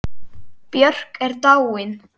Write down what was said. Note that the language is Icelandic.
Björk er dáin.